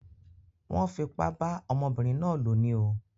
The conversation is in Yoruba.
Wón fipá bá ọmọbínrin náà lò ní o